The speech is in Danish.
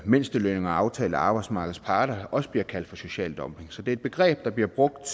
mindstelønningerne aftalt af arbejdsmarkedets parter også bliver kaldt for social dumping så det er et begreb der bliver brugt